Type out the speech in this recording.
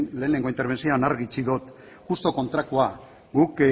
lehenengo interbentzioan argi utzi dut justu kontrakoa guk